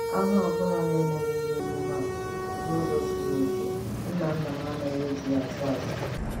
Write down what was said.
Anụ ọbụla na-emereghị emume a n'ụzọ zuru oke, nnanna m anaghị e ji ya achụ aja